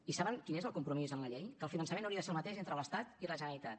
i saben quin és el compromís en la llei que el finançament hauria de ser el mateix entre l’estat i la generalitat